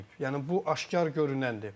Yəni bu aşkar görünəndir.